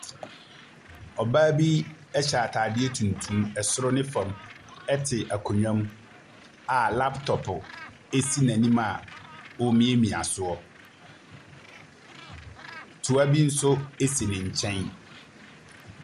Ɔbaa bi ɛhyɛ ataadeɛ tuntum soro ne fam ɛtse aonnwa mu a laaptɔpo asi n’anim a ɔremiamia soɔ. Toa bi so asi ne nkyɛn.